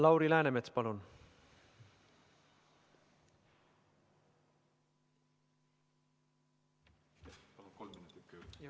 Lauri Läänemets, palun!